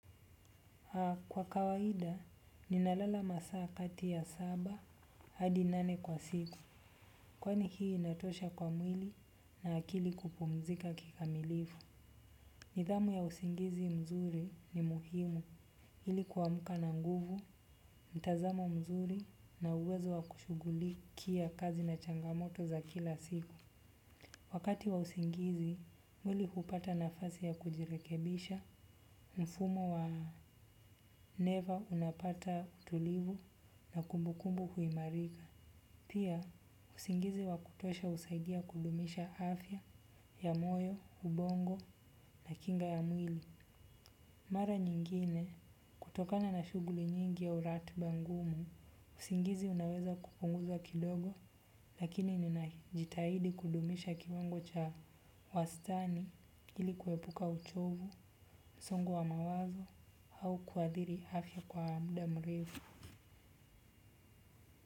Kwa kawaida, ninalala masaa kati ya saba, hadi nane kwa siku, kwani hii inatosha kwa mwili na akili kupumzika kikamilifu. Nidhamu ya usingizi mzuri ni muhimu, ili kuamka na nguvu, mtazamo mzuri na uwezo wa kushugulikia kazi na changamoto za kila siku. Wakati wa usingizi mwili hupata nafasi ya kujirekebisha mfumo wa neva unapata tulivu na kumbukumbu huimarika. Pia, usingizi wa kutosha husaidia kudumisha afya ya moyo, ubongo na kinga ya mwili. Mara nyingine, kutokana na shuguli nyingi au ratiba ngumu, usingizi unaweza kupunguza kidogo, lakini nina jitahidi kudumisha kiwango cha wastani ili kuepuka uchovu, msongo wa mawazo au kuadhiri afya kwa muda mrefu.